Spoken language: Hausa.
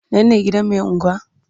Nan ne gidan mai anguwa?